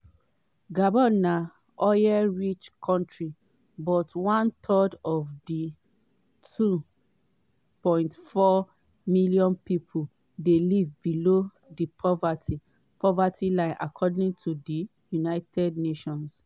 gabon na oil-rich kontri but one third of di 2.4 million pipo dey live below di poverty poverty line according to di united nations.